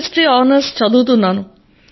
history honours చదువుతున్నాను